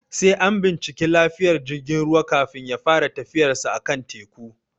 Sai an binciki lafiyar jigin ruwa, kafin ya fara tafiyarsa a kan teku.